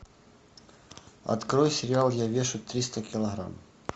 открой сериал я вешу триста килограмм